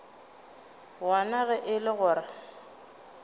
wona ge e le gore